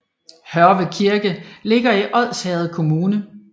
Hørve Kirke ligger i Odsherred Kommune